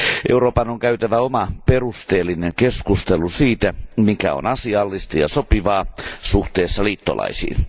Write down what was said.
Euroopan on käytävä oma perusteellinen keskustelu siitä, mikä on asiallista ja sopivaa suhteessa liittolaisiin.